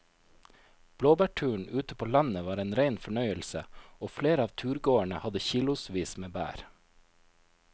Blåbærturen ute på landet var en rein fornøyelse og flere av turgåerene hadde kilosvis med bær.